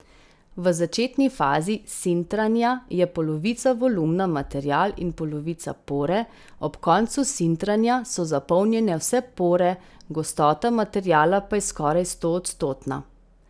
V začetni fazi sintranja je polovica volumna material in polovica pore, ob koncu sintranja so zapolnjene vse pore, gostota materiala pa je skoraj stoodstotna.